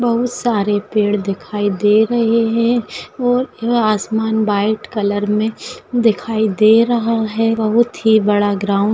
बहुत सारे पेड़ दिखाई दे रहे है और आसमान व्हाइट कलर मे दिखाई दे रहा है। बहुत ही बड़ा ग्राउंड --